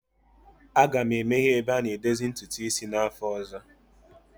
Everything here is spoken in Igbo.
Aga m emeghe ebe a na-edozi ntutu isi n'afọ ọzọ.